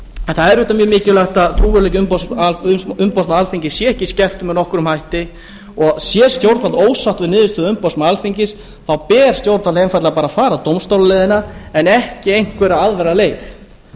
en það er auðvitað mjög mikilvægt að trúverðugleiki umboðsmanns alþingis sé ekki skertur með nokkrum hætti og sé stjórnvald ósátt við niðurstöðu umboðsmanns alþingis ber stjórnvaldi einfaldlega bara að fara dómstólaleiðina en ekki einhverja aðra leið